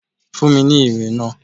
Fún mi ní ìwé náà.